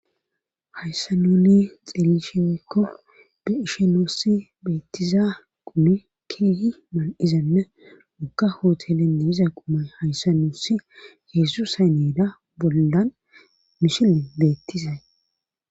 Hayssa nuuni xeelishe woykko be ishe nuussi beettiza qumi kihi mal'zenne woka hootelenne iza qumay hayssa nuussi yesus hay needa bollan mishilen beettizay.